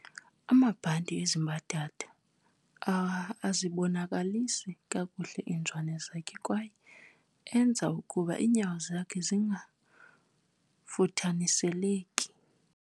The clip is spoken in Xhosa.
amabhanti ezi mbadada azibonakalisa kakuhle iizwane zakhe kwaye enza ukuba iinyawo zingafuthaniseleki